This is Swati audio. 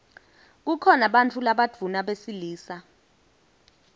kukhona bantfu labadvuna besilisa